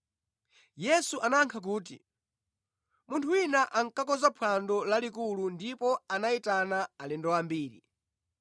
Yesu anayankha kuti, “Munthu wina ankakonza phwando lalikulu ndipo anayitana alendo ambiri.